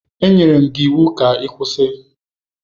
Enyere m gị iwu ka ị kwụsị!